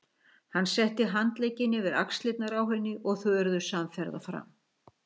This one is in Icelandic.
Hann setti handlegginn yfir axlirnar á henni og þau urðu samferða fram.